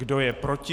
Kdo je proti?